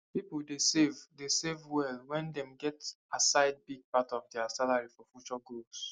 people dey save dey save well when dem set aside big part of their salary for future goals